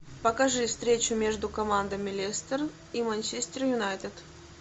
покажи встречу между командами лестер и манчестер юнайтед